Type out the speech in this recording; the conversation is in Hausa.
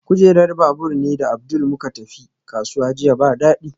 Kujerar babur ni da Abdul muka tafi kasuwa jiya ba dadi